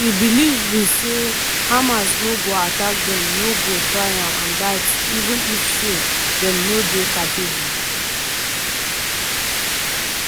di believe be say "hamas no go attack dem no go try am and dat even if so dem no dey capable.